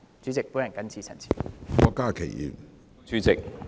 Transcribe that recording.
主席，我謹此陳辭。